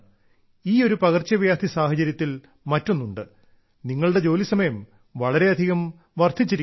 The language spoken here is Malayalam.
ഈയൊരു പകർച്ചവ്യാധി സാഹചര്യത്തിൽ മറ്റൊന്നുണ്ട് നിങ്ങളുടെ ജോലി സമയം വളരെയധികം വർദ്ധിച്ചിരിക്കണം